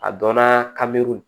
A dɔnna ka miiri